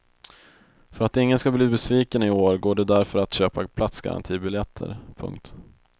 För att ingen ska bli besviken i år går det därför att köpa platsgarantibiljetter. punkt